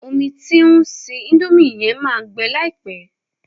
Omi tí o ń se índómì yẹn máa gbẹ láìpẹ́